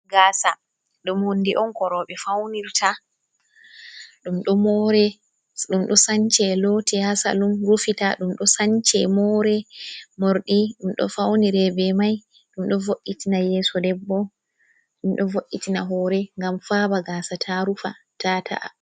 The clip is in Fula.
Gaasa ɗum hunde on ko rowɓe faunirta. Ɗum ɗo moore, ɗum ɗo sance loote ha salum, rufita, ɗum sance moore morɗi, ɗum ɗo faunire be mai, ɗum ɗo vo'itina yeso debbo, ɗum ɗo vo’itina hoore ngam faaba gasa ta rufa, ta ta’a.